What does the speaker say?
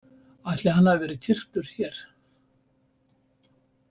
Ætli hann hafi verið kyrktur hér?